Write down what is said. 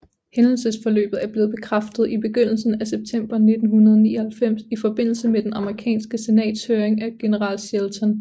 Hændelsesforløbet er blevet bekræftet i begyndelsen af september 1999 i forbindelse med det amerikanske senats høring af general Shelton